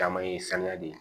Caman ye saniya de